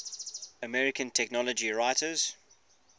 american technology writers